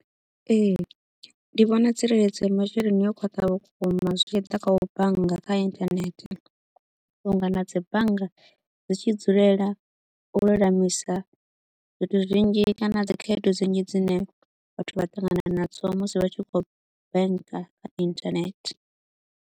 Ee, ndi vhona tsireledzo ya masheleni yo khwatha vhukuma zwi tshi ḓa kha u bannga kha internet vhunga na dzi bannga dzi tshi dzulela u lulamisa zwithu zwinzhi kana dzi khaedu dzinzhi dzine vhathu vha ṱangana nadzo musi vha tshi kho u banker kha internet.